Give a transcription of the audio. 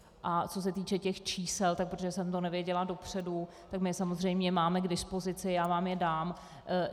A co se týče těch čísel, tak protože jsem to nevěděla dopředu, my je samozřejmě máme k dispozici, já vám je dám.